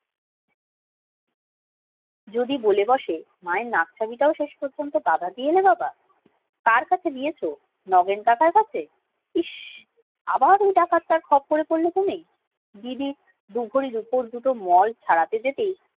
যদি বলে বসে মায়ের নাক ছাবিটাও শেষ পর্যন্ত বাধা দিয়ে এলে বাবা কার কাছে দিয়েছো? নগেন কাকার কাছে ইস আবার ওই ডাকাতটার ক্ষপ্পরে পরলে তুমি রুপোর দুটো মল ছাড়াতে যেতে